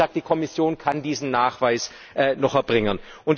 Aber, wie gesagt, die Kommission kann diesen Nachweis noch erbringen.